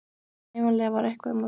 Ævinlega var eitthvað um að vera í